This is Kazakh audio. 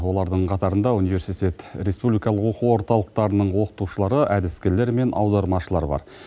олардың қатарында университет республикалық оқу орталықтарының оқытушылары әдіскерлер мен аудармашылар бар